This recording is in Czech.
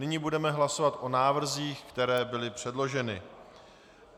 Nyní budeme hlasovat o návrzích, které byly předloženy.